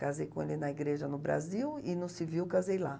Casei com ele na igreja no Brasil e no civil casei lá.